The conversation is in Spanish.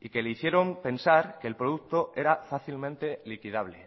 y que le hicieron pensar que el producto era fácilmente liquidable